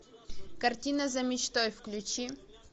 картина за мечтой включи